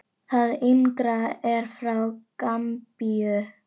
Það yngra er frá Gambíu.